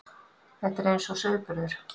Þetta er eins og sauðburður.